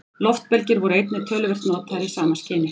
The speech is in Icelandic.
Loftbelgir voru einnig töluvert notaðir í sama skyni.